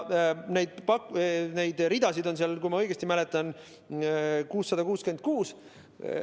Neid ridasid on seal, kui ma õigesti mäletan, 666.